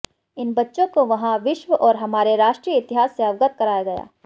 इन बच्चों को वहां विश्व और हमारे राष्ट्रीय इतिहास से अवगत कराया गया